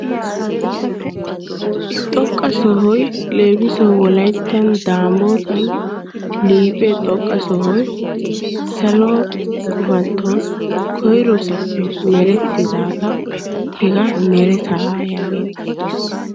Xoqqa sohayi leemisuwawu wolayttan daamootan liiphe xoqqa sohoyi salo gufantton koyroosappe merettidaagaa hegaa meretaa yaageettes.